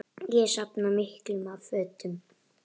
Ég safna miklu af fötum.